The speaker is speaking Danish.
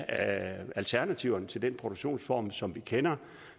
af alternativerne til den produktionsform som vi kender